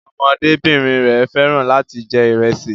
Ọmọdébìnrin rẹ̀ fẹ́ràn láti jẹ ìrẹsì